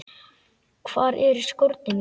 Hvar eru skórnir mínir?